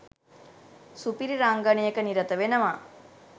සුපිරි රංගනයක නිරත වෙනවා.